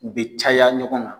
U bɛ caya ɲɔgɔn na